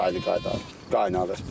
Elə çay da qaynayır.